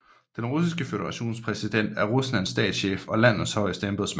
Den Russiske Føderations præsident er Ruslands statschef og landets højeste embedsmand